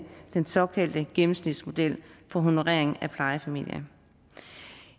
den såkaldte gennemsnitsmodel for honorering af plejefamilier